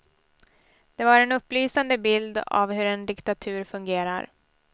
Det var en upplysande bild av hur en diktatur fungerar.